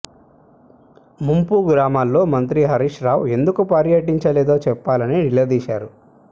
ముంపు గ్రామాల్లో మంత్రి హరీష్ రవు ఎందుకు పర్యటించలేదో చెప్పాలని నిలదీశారు